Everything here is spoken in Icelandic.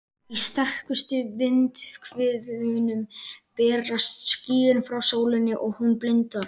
Í sterkustu vindhviðunum berast skýin frá sólinni svo hún blindar.